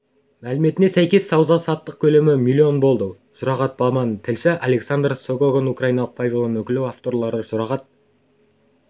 мәліметіне сәйкес сауда-саттық көлемі миллион болды жұрағат баман тілші александр согоконь украиналық павильон өкілі авторлары жұрағат